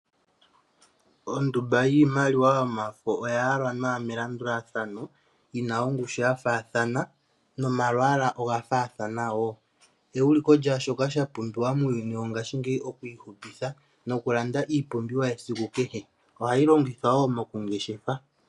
Ondumba yiimaliwa yomafo oya yalwa nawa melandulathano yina ongushu ya faathana momalwaala woo, ewuliko lyaa shoka sha pumbiwa muuyuni wongaashingeyi oku ihupitha noku landa iipumbiwa yesiku kehe, ohayi longithwa wo mokungeshefa